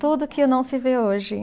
Tudo que não se vê hoje.